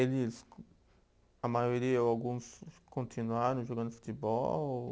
Eles, a maioria ou alguns continuaram jogando futebol?